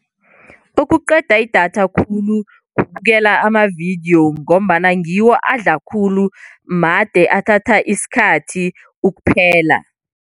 Okuqeda idatha khulu kubukela amavidiyo ngombana ngiwo adla khulu, made athatha isikhathi ukuphela.